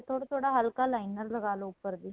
ਥੋੜਾ ਥੋੜਾ ਹੱਲਕਾ liner ਲਗਾਲੋ ਉੱਪਰ ਦੀ